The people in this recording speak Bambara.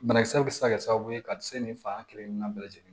Banakisɛ bɛ se ka kɛ sababu ye ka se nin fa kelen na bɛɛ lajɛlen ma